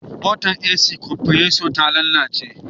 motar AC kwanpreso ta lalace